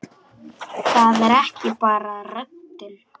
Það er ekki bara röddin.